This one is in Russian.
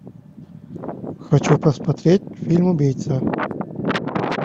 хочу посмотреть фильм убийца